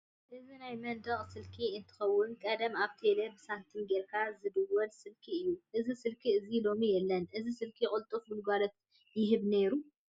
እዚ ናይ መንደቅ ስልኪ እንትከውን ቀደም ኣብ ቴሌ ብሳንቲም ጌርካ ዝድወል ስልኪ እዩ። እዚ ስልኪ እዚ ሎሚ የለን። እዚ ስልኪ ቁልጡፍ ግልጋሎት ይህብ ነይሩ።